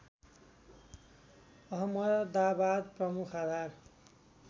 अहमदाबाद प्रमुख आधार